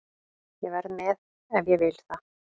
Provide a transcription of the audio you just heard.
Ég verð með ef ég vil það.